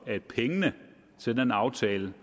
at pengene til den aftale